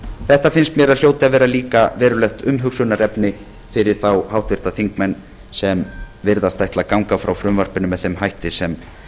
þetta finnst mér að hljóti að vera líka verulegt umhugsunarefni fyrir þá háttvirtir þingmenn sem virðast ætla að ganga frá frumvarpinu með þeim hætti sem